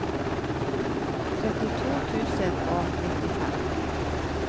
trettito tusen og nittifem